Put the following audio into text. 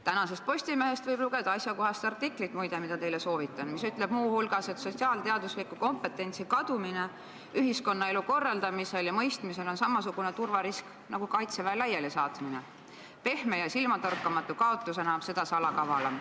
Tänasest Postimehest võib lugeda asjakohast artiklit – muide, ma seda teile soovitan –, mis ütleb muu hulgas, et sotsiaalteadusliku kompetentsi kadumine ühiskonnaelu korraldamisel ja mõistmisel on samasugune turvarisk nagu kaitseväe laialisaatmine, pehme ja silmatorkamatu kaotusena on see aga seda salakavalam.